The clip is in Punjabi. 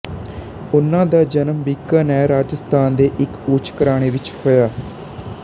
ਉਹਨਾਂ ਦਾ ਜਨਮ ਬੀਕਾਨੇਰ ਰਾਜਸਥਾਨ ਦੇ ਇੱਕ ਉੱਚ ਘਰਾਣੇ ਵਿੱਚ ਹੋਇਆ